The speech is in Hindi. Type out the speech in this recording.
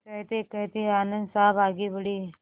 कहतेकहते आनन्द साहब आगे बढ़े